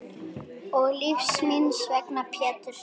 Og lífs míns vegna Pétur.